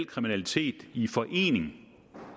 kriminalitet i forening